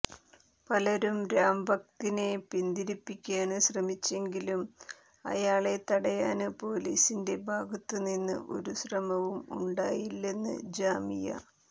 പലരും രാംഭക്തിനെ പിന്തിരിപ്പിക്കാന് ശ്രമിച്ചെങ്കിലും അയാളെ തടയാന് പൊലീസിന്റെ ഭാഗത്തുനിന്ന് ഒരു ശ്രമവും ഉണ്ടായില്ലെന്ന് ജാമിയ